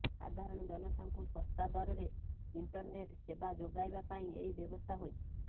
ସାଧାରଣ ଜନତାଙ୍କୁ ଶସ୍ତା ଦରରେ ଇଂଟରନେଟ୍ ସେବା ଯୋଗାଇବା ପାଇଁ ଏହି ବ୍ୟବସ୍ଥା ହୋଇଛି